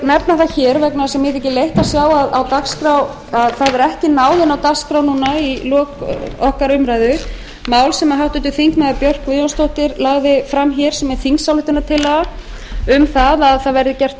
nefna það hér vegna þess að mér þykir leitt að sjá að það hefur ekki náð inn á dagskrá núna í lok okkar umræðu mál sem háttvirtur þingmaður björk guðjónsdóttir lagði fram hér sem er þingsályktunartillaga um það að það verði gert